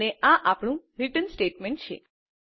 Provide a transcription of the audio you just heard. અને આ આપણું રીટર્ન સ્ટેટમેન્ટ છે